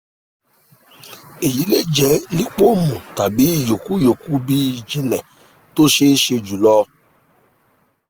èyí lè jẹ́ lípómù tàbí ìyókù ìyókù bí ìjìnlẹ̀ tó ṣeé ṣe jùlọ